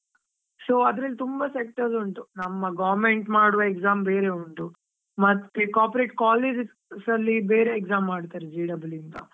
So ಅದ್ರಲ್ಲಿ ತುಂಬಾ sectors ಉಂಟು, ನಮ್ಮ government ಮಾಡುವ exam ಬೇರೆ ಉಂಟು. ಮತ್ತೆ, corporate colleges ಅಲ್ಲಿ ಬೇರೆ exam ಮಾಡ್ತಾರೆ, J double E ಅಂತಾ.